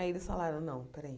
Aí eles falaram, não, espera aí.